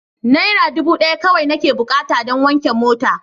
Naira dubu daya kawai nake bukata don wanke mota.